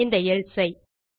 இந்த எல்சே ஐ